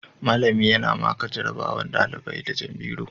Mallami yana maka jarabawar ɗaliban firamare da jan biro